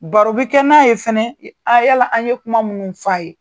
Baro bi kɛ n'a ye fana a yala an ye kuma minnu f'a ye